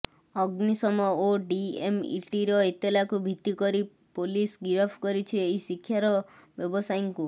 ଅଗ୍ନିଶମ ଓ ଡିଏମ୍ଇଟିର ଏତଲାକୁ ଭିତ୍ତି କରି ପୋଲିସ ଗିରଫ କରିଛି ଏହି ଶିକ୍ଷାର ବ୍ୟବସାୟୀଙ୍କୁ